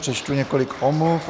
Přečtu několik omluv.